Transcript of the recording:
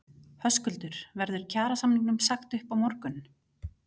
Höskuldur: Verður kjarasamningum sagt upp á morgun?